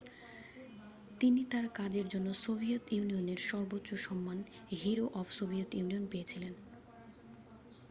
তিনি তাঁর কাজের জন্য সোভিয়েত ইউনিয়নের সর্বোচ্চ সম্মান হিরো অফ সোভিয়েত ইউনিয়ন' পেয়েছিলেন